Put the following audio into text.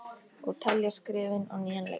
Og telja skrefin á nýjan leik.